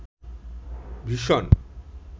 vision